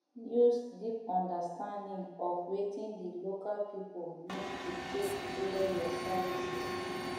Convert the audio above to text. use deep understanding of wetin di local pipo need to take tailor your services